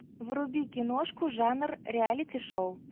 вруби киношку жанр реалити шоу